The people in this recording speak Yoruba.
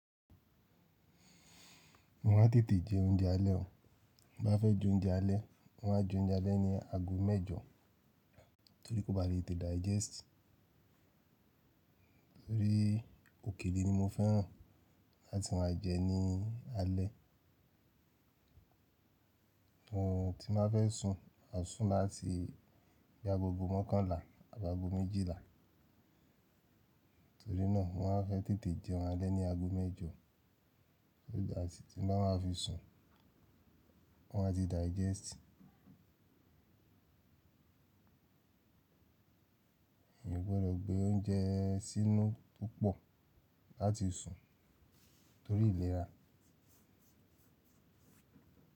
Mo máa ń tètè jẹ oúnjẹ alẹ́ o. Bí mo bá fẹ́ jẹ oúnjẹ alẹ́, mo máan jẹ oúnjẹ alẹ́ ní ago mẹ́jọ torí kó ba lè tete digest. Bii òkèlè ni mo fẹ́ràn láti máa jẹ ní alẹ́. Oorun tí n ba fẹ́ sun, maa sùn láti bi agogo mọ́kànlá abi ago méjìlá. Torí náà mo máa ń fẹ́ tètè jẹun alẹ́ ní ago mẹ́jọ so that tí mo bá fi sun, wọn a ti digest. Mi ò gbọdọ̀ gbé oúnjẹ sínú púpọ̀ láti sun torí ìlera.